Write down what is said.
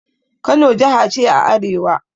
Kano jaha ce a arewa.